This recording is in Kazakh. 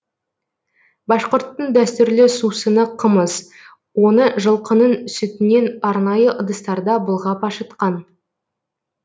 башқұрттың дәстүрлі сусыны қымыз оны жылқының сүтінен арнайы ыдыстарда былғап ашытқан